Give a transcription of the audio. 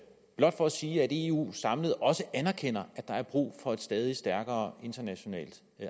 blot for at sige at eu samlet også erkender at der er brug for et stadig stærkere internationalt